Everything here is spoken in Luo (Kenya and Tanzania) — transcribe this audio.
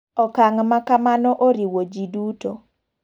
Okang' maka mano oriwo ji duto.